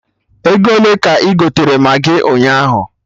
Ego ole ka ị gotere Maggị ụnyaahụ?